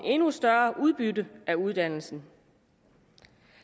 endnu større udbytte af uddannelsen